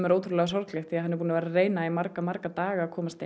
er ótrúlega sorglegt því hann er búinn að reyna í marga marga daga að komast